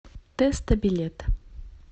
тэсто билет